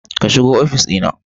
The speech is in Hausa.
Ka shigo ofis na.